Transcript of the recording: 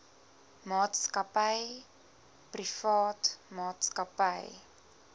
maatskappy privaat maatskappy